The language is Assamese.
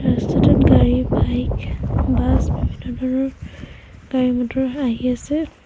ৰাস্তাটোত গাড়ী বাইক বাছ বিভিন্ন ধৰণৰ গাড়ী মটৰ আহি আছে।